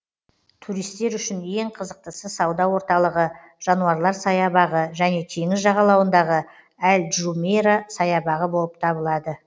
туристер үшін ең қызықтысы сауда орталығы жануарлар саябағы және теңіз жағалауындағы әл джумейра саябағы болып табылады